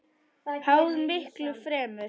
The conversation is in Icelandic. Háð miklu fremur.